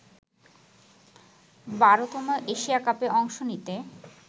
১২তম Asia কাপে অংশ নিতে